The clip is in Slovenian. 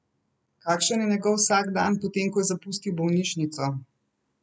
Kakšen je njegov vsakdan, potem ko je zapustil bolnišnico?